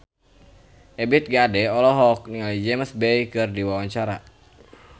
Ebith G. Ade olohok ningali James Bay keur diwawancara